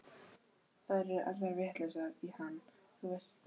Þær eru allar vitlausar í hann, þú veist það.